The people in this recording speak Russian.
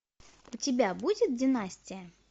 у тебя будет династия